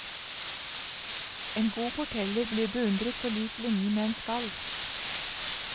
En god forteller blir beundret på lik linje med en skald.